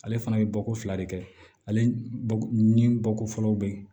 Ale fana bɛ bɔ ko fila de kɛ ale ni bɔko fɔlɔw bɛ yen